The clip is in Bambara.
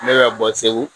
Ne bɛ ka bɔ segu